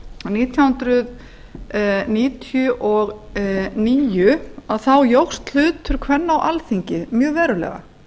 nítján hundruð níutíu og níu að þá jókst hlutur kvenna á alþingi mjög verulega